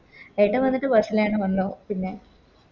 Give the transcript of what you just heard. ഏട്ടൻ വന്നിട്ട് Bus ന് തന്നെ വന്നു പിന്നെ